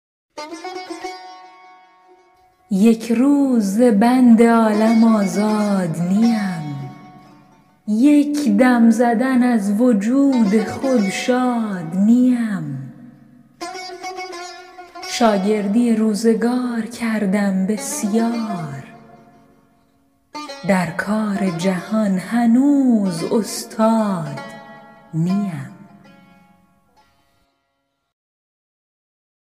یک روز ز بند عالم آزاد نیم یک دم زدن از وجود خود شاد نیم شاگردی روزگار کردم بسیار در کار جهان هنوز استاد نیم